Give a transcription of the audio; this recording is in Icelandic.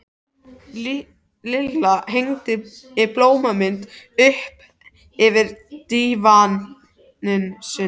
Lilla hengdi blómamyndina upp yfir dívaninn sinn.